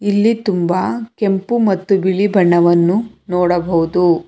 ಇಲ್ಲಿ ತುಂಬಾ ಕೆಂಪು ಮತ್ತು ಬಿಳಿ ಬಣ್ಣವನ್ನು ನೋಡಬಹುದು.